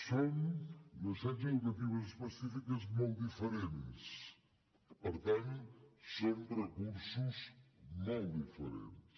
són necessitats educatives específiques molt diferents per tant són recursos molt diferents